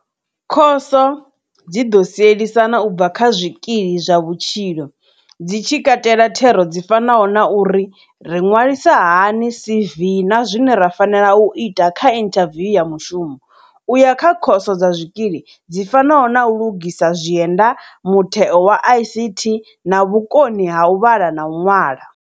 Khoso dzi ḓo sielisana u bva kha zwikili zwa vhutshilo dzi tshi katela thero dzi fanaho na uri ri ṅwalisa hani CV na zwine ra fanela u ita kha inthaviwu ya mushumo, u ya kha khoso dza zwikili, dzi fanaho na u lugisa zwienda, mutheo wa ICT na vhukoni ha u vhala na u ṅwala.